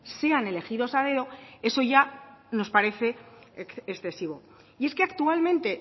sean elegidos a dedo eso ya nos parece excesivo y es que actualmente